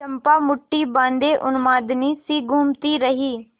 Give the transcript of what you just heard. चंपा मुठ्ठी बाँधे उन्मादिनीसी घूमती रही